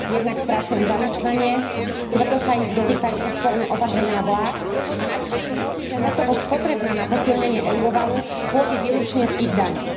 Jednak strácajú zamestnanie, tvrdo sa ich dotýkajú úsporné opatrenia vlád a navyše im hrozí, že hotovosť potrebná na posilnenie eurovalu pôjde výlučne z ich daní.